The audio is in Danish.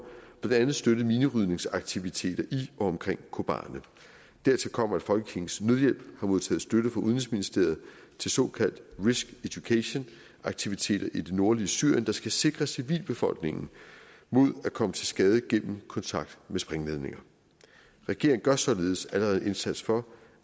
blandt andet støttet minerydningsaktiviteter i og omkring kobane dertil kommer at folkekirkens nødhjælp har modtaget støtte fra udenrigsministeriet til såkaldte risk education aktiviteter i det nordlige syrien der skal sikre civilbefolkningen mod at komme til skade gennem kontakt med sprængladninger regeringen gør således allerede en indsats for